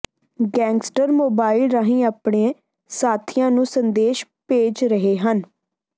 gangster mobile ਰਾਹੀਂ ਆਪਣੇ ਸਾਥੀਆਂ ਨੂੰ ਸੰਦੇਸ਼ ਭੇਜ ਰਹੇ ਹਨ